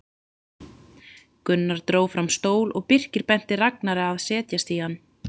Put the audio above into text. Gunnar dró fram stól og Birkir benti Ragnari að setjast í hann.